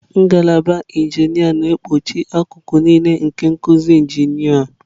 Ngalaba injinia na-ekpuchi akụkụ niile nke nkuzi injinia.